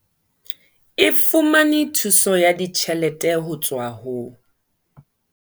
E fumane thuso ya ditjhelete ho tswa ho.